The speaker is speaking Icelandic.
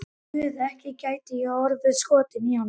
Guð, ekki gæti ég orðið skotin í honum.